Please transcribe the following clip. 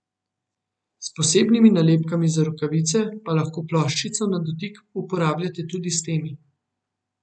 S posebnimi nalepkami za rokavice pa lahko ploščico na dotik uporabljate tudi s temi.